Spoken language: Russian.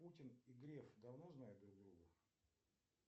путин и греф давно знают друг друга